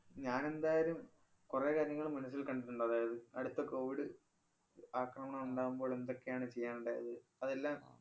ഞാനെന്തായാലും കൊറേ കാര്യങ്ങള് മനസില്‍ കണ്ടിട്ടുണ്ട്. അതായത്, അടുത്ത covid ആക്രമണമുണ്ടാകുമ്പോള്‍ എന്തൊക്കെയാണ് ചെയ്യാനുണ്ടായത്. അതെല്ലാം